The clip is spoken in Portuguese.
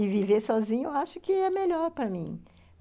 E viver sozinha eu acho que é melhor para mim.